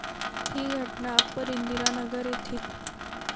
ही घटना अप्पर इंदिरानगर येथील.